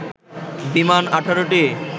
বিমান ১৮টি